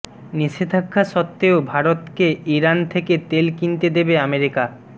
নিষেধাজ্ঞা সত্ত্বেও ভারতকে ইরান থেকে তেল কিনতে দেবে আমেরিকা